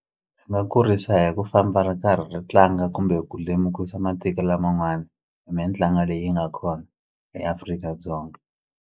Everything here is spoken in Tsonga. Swi nga kurisa hi ku famba ri karhi ri tlanga kumbe ku lemukisa matiko laman'wani hi mitlangu leyi nga kona eAfrika-Dzonga.